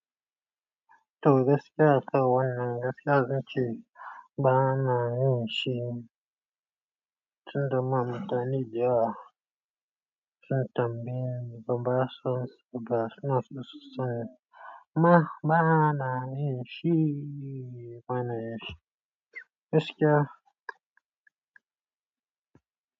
Toh gaskiya akan wannan gaskiya zan ce banayin shi. Tun da ma mutani dewa, sun tambayi banba su amsa suna ma bana nishi bana yi. Gaskiya.